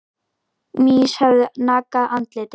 Mýs höfðu nagað andlitið.